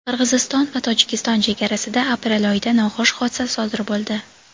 Qirg‘iziston va Tojikiston chegarasida aprel oyida noxush hodisa sodir bo‘ldi.